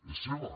és seva